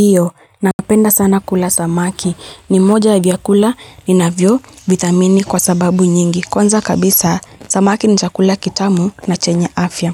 Hiyo, napenda sana kula samaki. Nimoja ya vyakula inavyovithamini kwa sababu nyingi. Konza kabisa, samaki ni chakula kitamu na chenye afya.